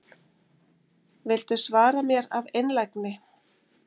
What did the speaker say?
Viltu svara mér af einlægni?